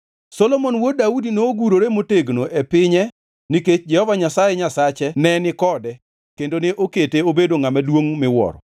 Solomon wuod Daudi nogurore motegno e pinye nikech Jehova Nyasaye Nyasache ne ni kode kendo ne okete obedo ngʼama duongʼ miwuoro.